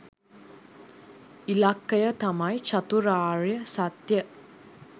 ඉලක්කය තමයි චතුරාර්ය සත්‍යය